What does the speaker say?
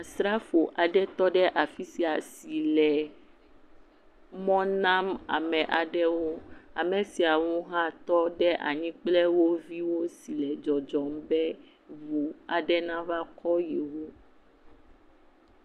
Srafo aɖe tɔ ɖe afi sia si le mɔ nam aɖewo amewo. Ame siawo hã tɔ ɖe anyi kple wo viwo sile dzɔdzɔm be wὸ aɖe nava kɔ yewo.